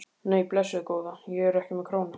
Nei, blessuð góða. ég er ekki með krónu!